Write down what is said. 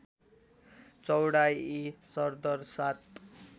चौडाइ सरदर ७